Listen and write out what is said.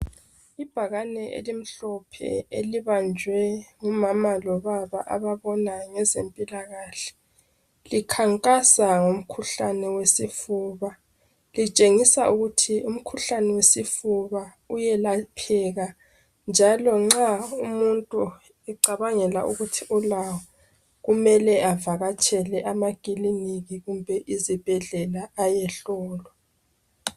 Ibhakane elimhlophe elibanjwe ngumama lobaba ababonayo ngeze mpilakahle likhankasa ngomkhuhlane wesifuba. Litshengisa ukuthi umkhuhlane wesifuba uyelapheka njalo nxa umuntu ecabangela ukuthi ulawo kumele avakatshele amakiliniki kumbe izibhedlela ayehlolwa .